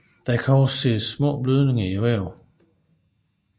Der kan også ses små blødninger i vævet